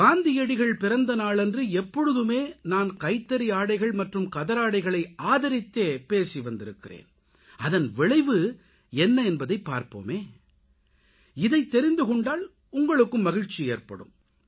காந்தியடிகள் பிறந்த நாளன்று எப்பொழுதுமே நான் கைத்தறி ஆடைகள் மற்றும் கதராடைகளை ஆதரித்தே பேசி வந்திருக்கிறேன் அதன் விளைவு என்ன என்பதைப் பார்ப்போமே இதைத் தெரிந்து கொண்டால் உங்களுக்கும் மகிழ்ச்சி ஏற்படும்